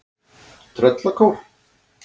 Tröllakór